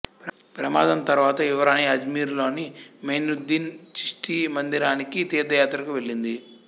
ప్రమాదం తరువాత యువరాణి అజ్మీరులోని మొయినుద్దీను చిష్తి మందిరానికి తీర్థయాత్రకు వెళ్ళింది